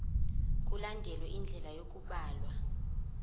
mkulandelwe indlela yokubhalwa